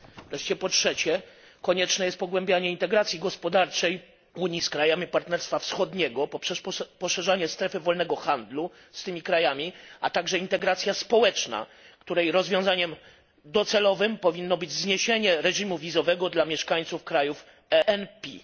Wreszcie po trzecie, konieczne jest pogłębianie integracji gospodarczej Unii z krajami partnerstwa wschodniego poprzez poszerzanie strefy wolnego handlu z tymi krajami, a także integracja społeczna, której rozwiązaniem docelowym powinno być zniesienie wiz dla mieszkańców krajów ENPI.